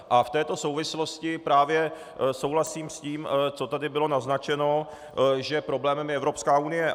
A v této souvislosti právě souhlasím s tím, co tady bylo naznačeno, že problémem je Evropská unie.